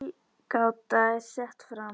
Tilgáta er sett fram.